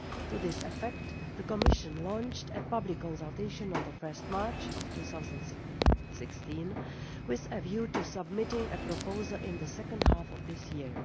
To this effect, the Commission launched a public consultation on 1 March 2016, with a view to submitting a proposal in the second half of this year.